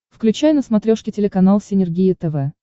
включай на смотрешке телеканал синергия тв